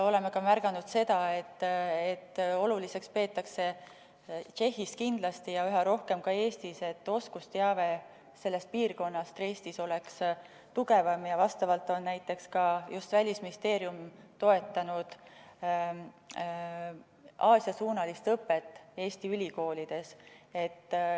Oleme ka märganud, et oluliseks peetakse Tšehhis kindlasti ja üha rohkem ka Eestis seda, et oskusteave sellest piirkonnast oleks tugevam ja vastavalt on näiteks ka just Välisministeerium toetanud Aasia-suunalist õpet Eesti ülikoolides.